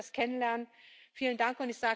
Ich durfte das kennenlernen. Vielen Dank!